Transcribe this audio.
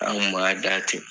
An kun ma da ten.